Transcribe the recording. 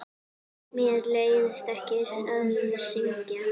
Mér leiðist ekki að syngja.